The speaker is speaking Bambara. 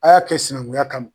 A y'a kɛ sinɛngunya kama